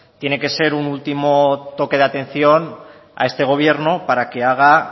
tiene que ser un último toque de atención a este gobierno para que haga